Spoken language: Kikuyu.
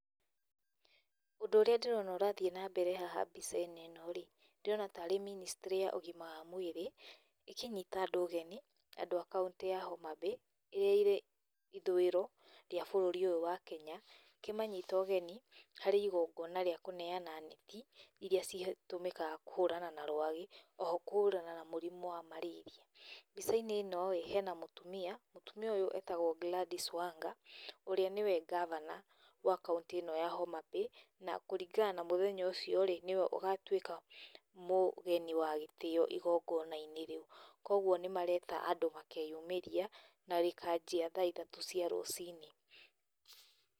ũndũ ũrĩa ndĩrona ũrathiĩ nambere haha mbica-inĩ ĩno-rĩ ndĩrona tarĩ ministry ya ũgima wa mwĩrĩ ĩkĩnyita andũ ũgeni, andũ a county ya Homa Bay ĩrĩa ĩrĩ ithũĩro rwĩ bũrũri ũyũ wa Kenya ĩkĩmanyita ũgeni harĩ igongona rĩa kũneana net iria citũmĩkaga kũhũrana na rwagĩ oho kũhũrana na mũrimũ wa marĩria. Mbica-inĩ ĩno hena mũtumia, mũtumia ũyũ etagwo Gladys Wanga ũrĩa nĩwe governor wa county ĩno ya Homa Bay, na kũringana na mũthenya ũcio-rĩ, nĩwe ũgatuĩka mũgeni wa gitĩo igongona-inĩ rĩu. koguo nĩ marenda andũ makeyumĩria na rĩkanjia tha ithatũ cia rũcinĩ.